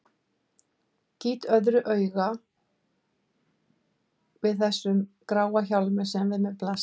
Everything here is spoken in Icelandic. Gýt öðru hvoru auga að þessum gráa hjálmi sem við mér blasir.